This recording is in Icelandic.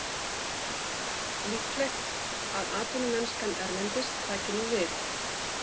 Líklegt að atvinnumennskan erlendis taki nú við.